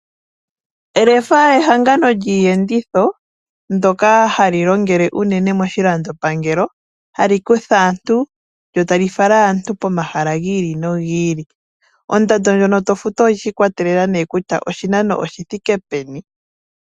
Lefa ehangano lyiiyenditho, ndyoka hali longele unene moshilando pangelo, hali kutha aantu, lyo tali fala aantu pomahala gil ili nogi ili. Ondando ndjono to futu oyi ikwatelela nee kutya oshinano oshithike peni.